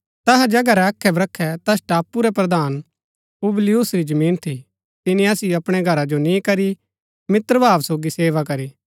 तैहा जगहा रै अखै बख्रै तैस टापू रै प्रधान पुबलियुस री जमीन थी तिनी असिओ अपणै घरा जो नी करी मित्रभाव सोगी सेवा करी